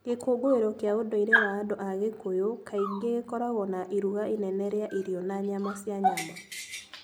Gĩkũngũĩro kĩa ũndũire wa andũ a Kikuyu kaingĩ gĩkoragwo na iruga inene rĩa irio na nyama cia nyama.